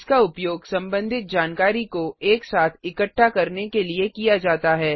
इसका उपयोग संबंधित जानकारी को एक साथ इकट्ठा करने के लिए किया जाता है